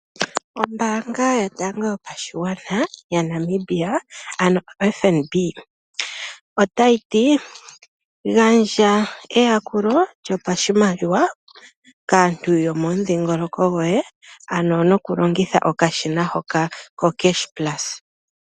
Ombaanga yotango yopashigwana yaNamibia ano oFNB, otayi ti gandja eyakulo lyopashimaliwa kaantu yomomudhiingoloko goye tolongitha okashina hoka koCashPlus.